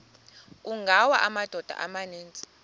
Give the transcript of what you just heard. kungawa amadoda amaninzi